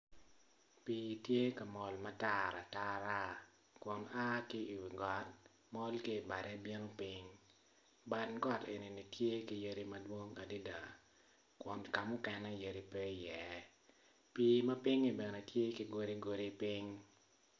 Pii tye ka mol ma tar atara kun a ki i wi got mol ki i bade bino piny bad got eni tye ki yadi madwong adada kun ka mukene yadi pe iye pii man pinyi bene tye ki godigodi piny.